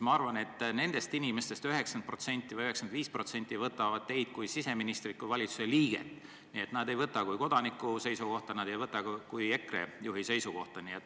Ma arvan, et nendest inimestest 90% või 95% võtab teid kui siseministrit, kui valitsuse liiget, nad ei võta neid arvamusavaldusi kui kodaniku seisukohti, nad ei võta neid kui EKRE juhi seisukohti.